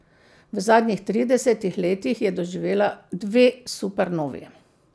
V zadnjih tridesetih letih je doživela dve supernovi.